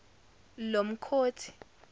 lomkhothi